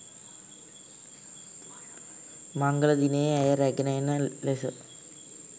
මංගල දිනයේ ඇය රැගෙන එන ලෙස